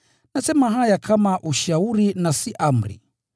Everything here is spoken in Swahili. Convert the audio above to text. Nasema haya kama ushauri na si amri.